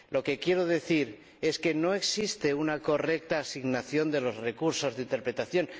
Lo que quiero decir es que no existe una correcta asignación de los recursos de interpretación.